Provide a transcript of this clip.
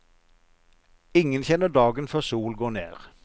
Ingen kjenner dagen før sol går ned.